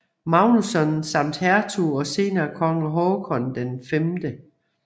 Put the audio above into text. Magnusson samt hertug og senere konge Håkon 5